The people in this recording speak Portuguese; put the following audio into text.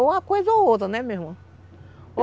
Ou uma coisa ou outra, né, minha irmã?